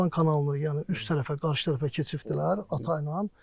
Şirvan kanalını yəni üst tərəfə, qarşı tərəfə keçibdilər atayla.